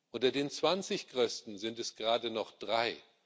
Unter den zwanzig größten sind es gerade noch drei.